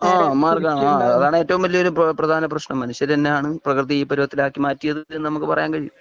ഹാ മാറുകയാണ് അതാണ് ഏറ്റവും വലിയ ഒരു പ്രദാന പ്രശ്നം മനുഷ്യര് തന്നെ ആണ് പ്രകൃതിയെ ഈ പരുവത്തിലാക്കി മാറ്റിയത് എന്നു നമുക്ക് പറയാൻ കഴിയൂ